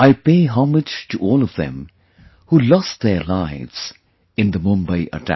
I pay homage to all of them who lost their lives in the Mumbai attack